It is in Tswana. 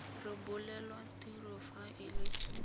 rebolelwa tiro fa e le